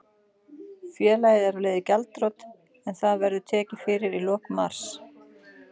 Félagið er á leið í gjaldþrot en það verður tekið fyrir í lok mars.